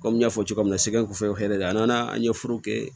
Komi n y'a fɔ cogo min na sɛgɛ kɔfɛ hɛrɛ de a nana an ye foro kɛ